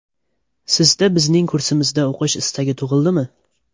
Sizda bizning kursimizda o‘qish istagi tug‘ildimi?